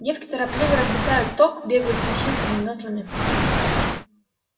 девки торопливо разметают ток бегают с носилками мётлами